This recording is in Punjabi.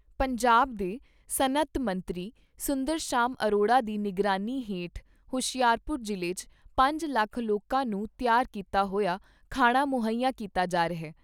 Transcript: ਪੰਜਾਬ ਦੇ ਸਨਅਤ ਮੰਤਰੀ ਸੁੰਦਰ ਸ਼ਾਮ ਅਰੋੜਾ ਦੀ ਨਿਗਰਾਨੀ ਹੇਠ ਹੁਸ਼ਿਆਰਪੁਰ ਜ਼ਿਲ੍ਹੇ 'ਚ ਪੰਜ ਲੱਖ ਲੋਕਾਂ ਨੂੰ ਤਿਆਰ ਕੀਤਾ ਹੋਇਆ ਖਾਣਾ ਮੁਹੱਈਆ ਕੀਤਾ ਜਾ ਰਿਹਾ।